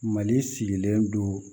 Mali sigilen don